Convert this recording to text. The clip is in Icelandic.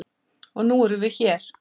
Og nú erum við hér.